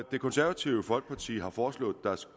det konservative folkeparti har foreslået